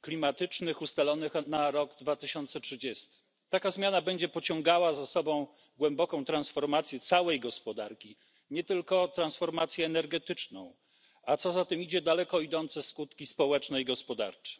klimatycznych ustalonych na 2030 r. Taka zmiana będzie pociągała za sobą głęboką transformację całej gospodarki, nie tylko transformację energetyczną, a co za tym idzie, daleko idące skutki społeczne i gospodarcze.